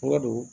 Wa dow